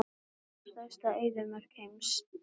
Hver er stærsta eyðimörk heims?